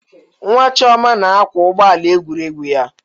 Nwa Chioma na-akwa ụgbọ ala egwuregwu ya.